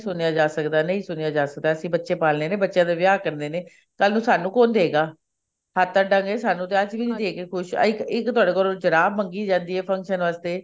ਸੁਣਿਆ ਜਾ ਸਕਦਾ ਨਹੀਂ ਸੁਣਿਆ ਜਾ ਸਕਦਾ ਬੱਚੇ ਪਾਲਨੇ ਨੇ ਬੱਚਿਆਂ ਦੇ ਵਿਆਹ ਕਰਨੇ ਨੇ ਕੱਲ ਨੂੰ ਸਾਨੂੰ ਕੋਣ ਦੇਗਾ ਹੱਥ ਅੱਡਾਂ ਗੇ ਅਸੀਂ ਵੀ ਦੇ ਕੇ ਨੀ ਖੁਸ਼ ਇੱਕ ਤੁਹਾਡੇ ਕੋਲੋਂ ਜੁਰਾਬ ਮੰਗੀ ਜਾਂਦੀ ਆ function ਵਾਸਤੇ